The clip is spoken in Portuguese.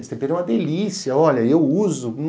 Esse tempero é uma delícia, olha, eu uso.